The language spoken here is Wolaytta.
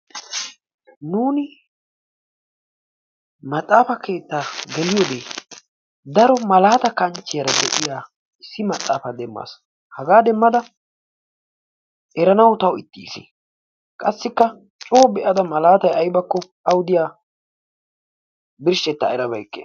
Nuuni maaxafaa keettaa gelliyoode daro malaata kanchiyaara de'iyaa issi maxaafaa demaas. hagaa demmada eranaw tawu ixxiis qassikka coo be"ada maalatay aybakko awu diyaa birshshetta erabeyiike.